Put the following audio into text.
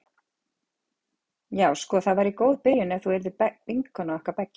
Já sko það væri góð byrjun ef þú yrðir vinkona okkar beggja.